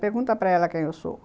Pergunta para ela quem eu sou.